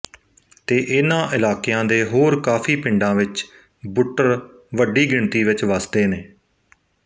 ਤੇ ਇਹਨਾਂ ਇਲਾਕਿਆਂ ਦੇ ਹੋਰ ਕਾਫ਼ੀ ਪਿੰਡਾਂ ਵਿੱਚ ਬੁੱਟਰ ਵੱਡੀ ਗਿਣਤੀ ਵਿੱਚ ਵਸਦੇ ਨੇ